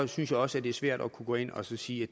synes jeg også det er svært at gå ind og sige